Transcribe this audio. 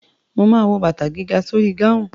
Ma wo bàtà gíga sórí gáhùn.